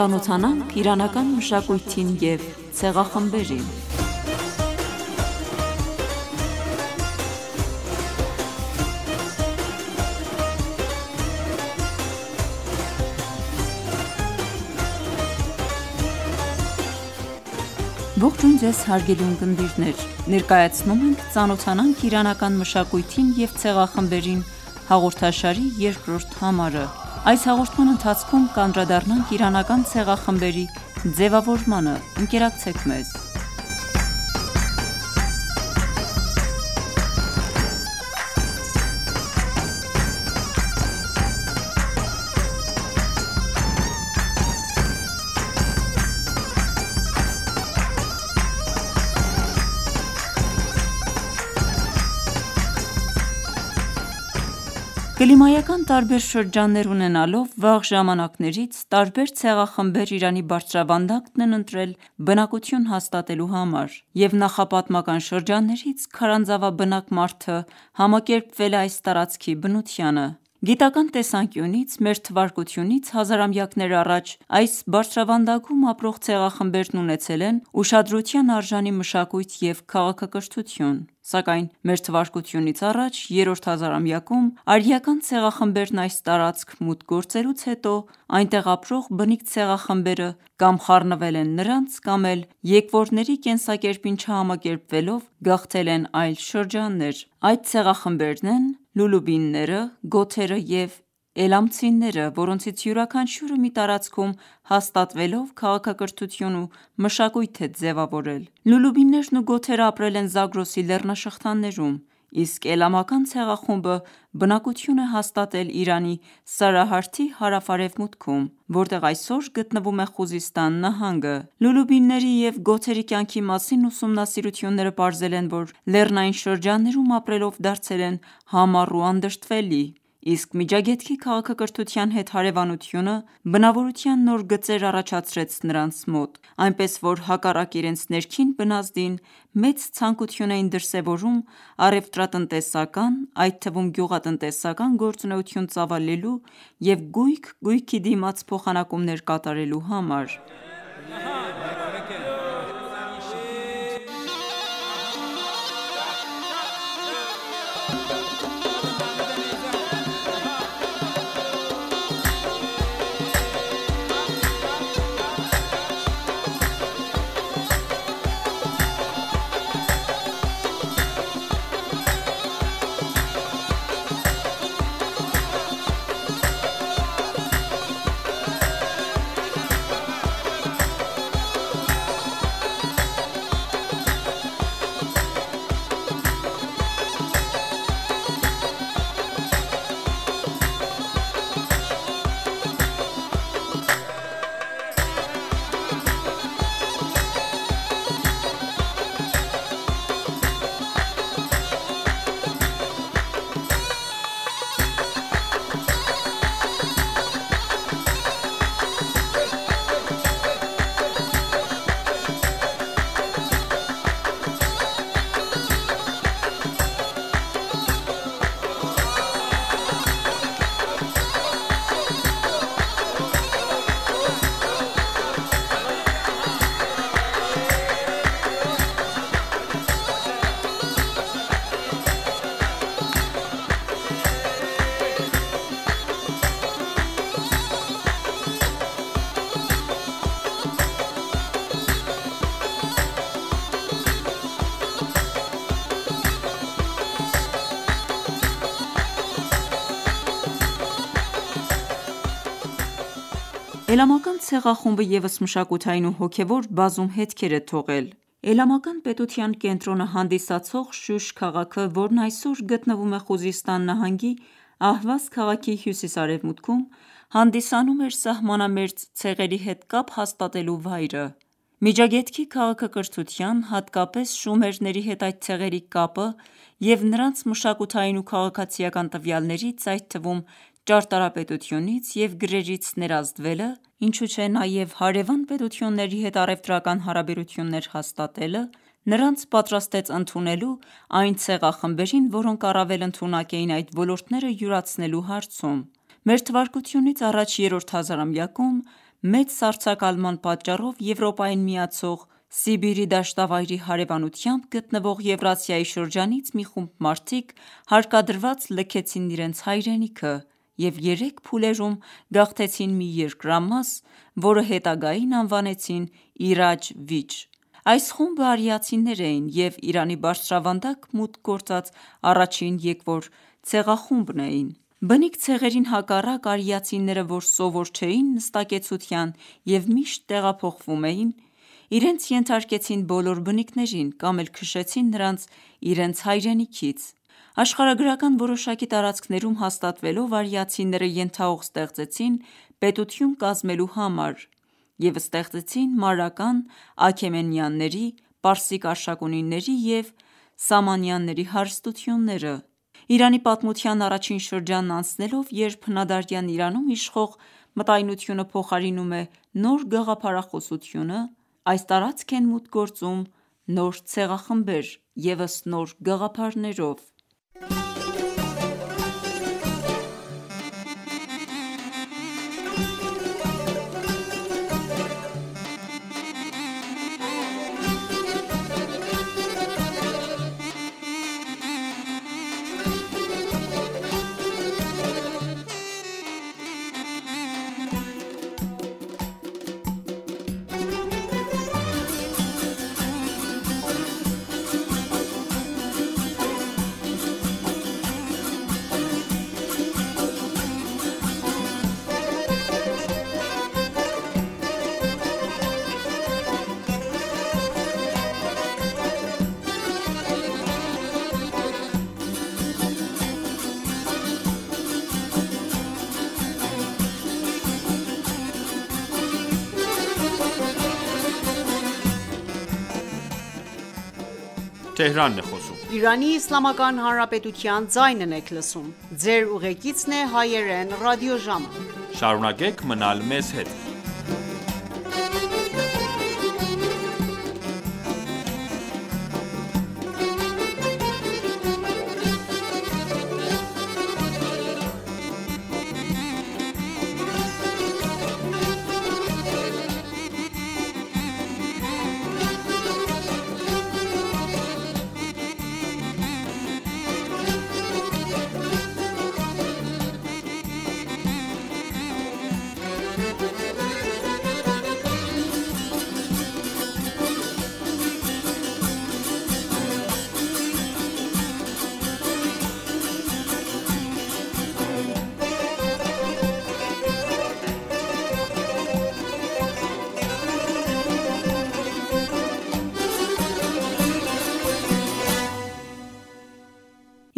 Ծանոթանանք իրանական մշակույթին և ցեղախմբերին (2) Ներկայացնում ենք «Ծանոթանանք իրանական մշակույթին և ցեղախմբերին» հաղորդաշարի երկրորդ համարը: Այս հաղորդման ընթացքում կանդրադառնանք իրանական ցեղախմբերի ձևավորմանը: Ընկերակցեք մեզ: Կլիմայական տարբեր շրջաններ ունենալով, վաղ ժամանակներից տարբեր ցեղախմբեր Իրանի բարձրավանդակն են ընտրել բնակություն հաստատելու համար և նախապատմական շրջաններից քարանձավաբնակ մարդը համակերպվել է այս տարածքի բնությանը: Գիտական տեսանկյունից, Մթ. հազարամյակներ առաջ, այս բարձրավանդակում ապրող ցեղախմբերն ունեցել են ուշադրության արժանի մշակույթ և քաղաքակրթություն: Սակայն Մթա. երրորդ հազարամյակում, արիական ցեղախմբերն այս տարածք մուտք գործելուց հետո, այնտեղ ապրող բնիկ ցեղախմբերը կամ խառնվել են նրանց, կամ էլ եկվորների կենսակերպին չհամակերպվելով, գաղթել են այլ շրջաններ: Այդ ցեղախմբերն են լոլոբիները, գոթերը և էլամցիները, որոնք յուրաքանչյուրը մի տարածքում հաստատվելով քաղաքակրթություն ու մշակույթ է ձևավորել: Լոլոբիներն ու գոթերն ապրել են Զագրոսի լեռնաշղթաներում, իսկ էլամական ցեղախումբը բնակություն է հաստատել Իրանի սարահարթի հարավ-արևմուտքում, որտեղ այսօր գտնվում է Խուզիսթան նահանգը: Լոլոբիների և գոթերի կյանքի մասին ուսումնասիրությունները պարզել են, որ լեռնային շրջաններում ապրելով դարձել են համառ ու անդրդվելի: Իսկ Միջագետքի քաղաքակրթության հետ հարևանությունը բնավորության նոր գծեր առաջացրեց նրանց մոտ, այնպես որ հակառակ իրենց ներքին բնազդին, մեծ ցանկություն էին դրսևորում առևտրատնտեսական, այդ թվում գյուղատնտեսական գործունեություն ծավալելու և գույք-գույքի դիմաց փոխանակումներ կատարելու համար: Էլամական ցեղախումբը ևս մշակութային ու հոգևոր բազում հետքեր է թողել: Էլամական պետության կենտրոնը հանդիսացող Շուշ քաղաքը, որն այսօր գտնվում է Խուզիստան նահանգի Ահվազ քաղաքի հյուսիս-արևմուտքում, հանդիսանում էր սահմանամերձ ցեղերի հետ կապ հաստատելու վայրը: Միջագետքի քաղաքակրթության, հատկապես շումերների հետ այդ ցեղերի կապը և նրանց մշակութային ու քաղաքացիական տվյալներից, այդ թվում ճարտարապետությունից և գրերից ներազդվելը, ինչուչէ նաև դրկից պետությունների հետ առևտրական հարաբերություններ հաստատելը նրանց պատրաստեց ընդունելու այն ցեղախմբերին, որոնք առավել ընդունակ էին այդ ոլորտները յուրացնելու հարցում: Մթա. երրորդ հազարամյակում, մեծ սառցակալման պատճառով Եվրոպային միացող Սիբիրի դաշտավայրի հարևանությամբ գտնվող Եվրասիայի շրջանից մի խումբ մարդիկ հարկադրված լքեցին իրենց հայրենիքը և երեք փուլերում գաղթեցին մի երկրամաս, որը հետագային անվանեցին «Իրաջ Վիջ»: Այս խումբն արիացիներ էին և Իրանի բարձրավանդակ մուտք գործած առաջին եկվոր ցեղախումբն էին: Բնիկ ցեղերին հակառակ, արիացիները, որ սովոր չէին նստակեցության և միշտ տեղափոխվում էին, իրենց ենթարկեցին բոլոր բնիկներին կամ էլ քշեցին նրանց իրենց հայրենիքից: Աշխարհագրական որոշակի տարածքներում հաստատվելով, արիացիները ենթահող ստեղծեցին պետություն կազմելու համար և ստեղծեցին Մարական, Աքեմենյանների, պարսիկ Արշակունիների և Սամանիդների հարստությունները: Իրանի պատմության առաջին շրջանն անցնելով, երբ հնադարյան Իրանում իշխող մտայնությանը փոխարինում է նոր գաղափարախոսությունը, այս տարածք են մուտք գործում նոր ցեղախմբեր ևս նոր գաղափարներով: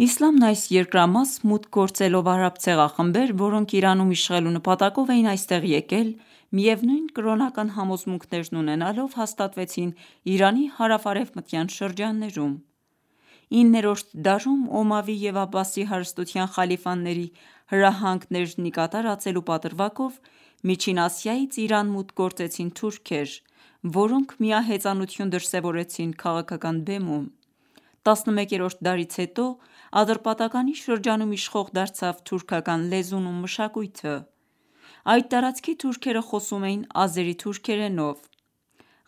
Իսլամն այս երկրամաս մուտք գործելով արաբ ցեղախմբեր, որոնք Իրանում իշխելու նպատակով էին այստեղ եկել, միևնույն կրոնական համոզմունքներն ունենալով, հաստատվեցին Իրանի հարավ-արևմտյան շրջաններում: 9-րդ դարում, Օմավի և Աբբասի հարստության խալիֆաների հրահանգներն ի կատար ածելու պատրվակով Միջին Ասիայից Իրան մուտք գործեցին թուրքեր, որոնք միահեծանություն դրսևորեցին քաղաքական բեմում: 11-րդ դարից հետո, Ատրպատականի շրջանում իշխող դարձավ թուրքական լեզուն ու մշակույթը: Այդ տարածքի թուրքերը խոսում էին ազերի թուրքերենով: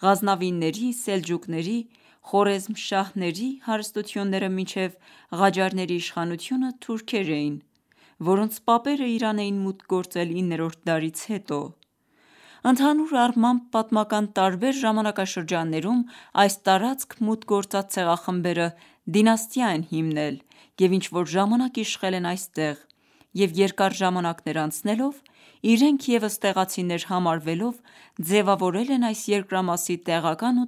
Ղազնավիների, սելջուկների, խարազմշահյանների հարստությունները մինչև ղաջարների իշխանությունը թուրքեր էին, որոնց հայրերը Իրան էին մուտք գործել 9-րդ դարից հետո: Ընդհանուր առմամբ, պատմական տարբեր ժամանակաշրջաններում այս տարածք մուտք գործած ցեղախմբերը դինաստիա են հիմնել և ինչ-որ ժամանակ իշխել են այստեղ և երկար ժամանկներ անցնելով, իրենք ևս տեղացիներ համարվելով ձևավորել են այս երկրամասի տեղական ու